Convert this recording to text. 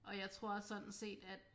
Og jeg tror sådan set at